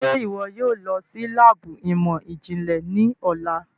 Ṣe iwọ yóò lọ si laabu imọ-jinlẹ ni ọla?